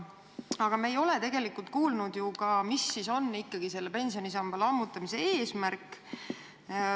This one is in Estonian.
Aga me ei ole tegelikult kuulnud ka, mis ikkagi on selle pensionisamba lammutamise eesmärk.